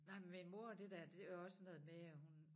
Nej men min mor og det der det også noget med at hun